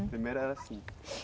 A primeira era assim.